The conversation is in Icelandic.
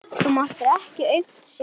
Þú máttir ekkert aumt sjá.